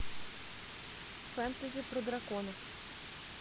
фэнтези про драконов